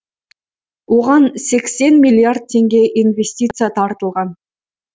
оған сексен миллиард теңге инвестиция тартылған